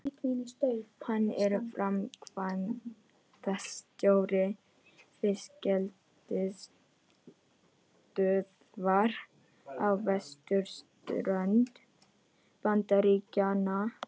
Hann er framkvæmdastjóri fiskeldisstöðvar á vesturströnd Bandaríkjanna.